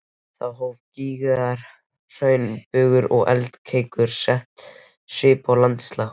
Þó hafa gígaraðir, hraunbungur og eldkeilur sett svip á landslag.